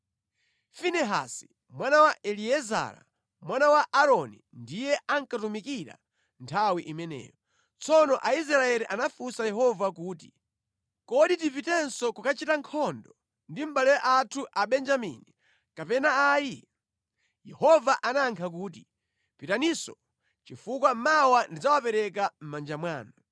Finehasi mwana wa Eliezara mwana wa Aaroni ndiye ankatumikira nthawi imeneyo. Tsono Aisraeli anafunsa Yehova kuti, “Kodi tipitenso kukachita nkhondo ndi mʼbale athu Abenjamini, kapena ayi?” Yehova anayankha kuti, “Pitaninso chifukwa mawa ndidzawapereka mʼmanja mwanu.”